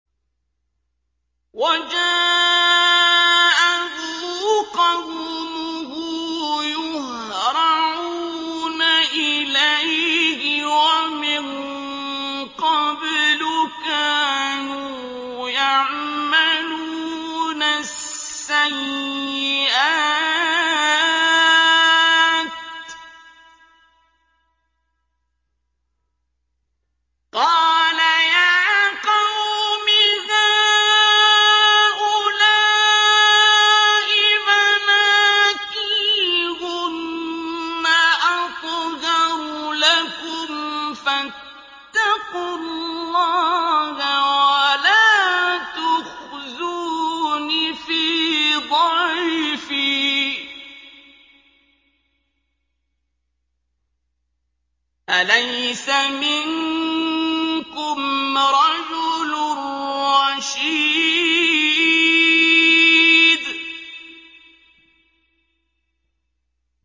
وَجَاءَهُ قَوْمُهُ يُهْرَعُونَ إِلَيْهِ وَمِن قَبْلُ كَانُوا يَعْمَلُونَ السَّيِّئَاتِ ۚ قَالَ يَا قَوْمِ هَٰؤُلَاءِ بَنَاتِي هُنَّ أَطْهَرُ لَكُمْ ۖ فَاتَّقُوا اللَّهَ وَلَا تُخْزُونِ فِي ضَيْفِي ۖ أَلَيْسَ مِنكُمْ رَجُلٌ رَّشِيدٌ